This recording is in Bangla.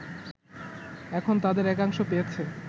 এখন তাদের একাংশ পেয়েছে